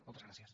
moltes gràcies